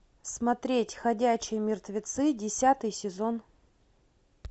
смотреть ходячие мертвецы десятый сезон